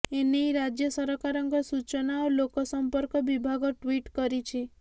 ଏ ନେଇ ରାଜ୍ୟ ସରକାରଙ୍କର ସୂଚନା ଓ ଲୋକ ସମ୍ପର୍କ ବିଭାଗ ଟ୍ୱିଟ କରିଛି